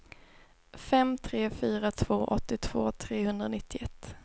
fem tre fyra två åttiotvå trehundranittioett